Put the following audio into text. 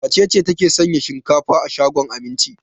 Wace ce take sayan shinkafa a shagon Aminci?